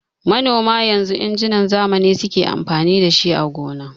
Manoma yanzu injinan zamani suke amfani dashi a gona.